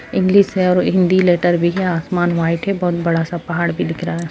English है और Hindi letter भी है आसमान व्हाइट है बहोत बड़ा सा पहाड़ भी दिख रहा है।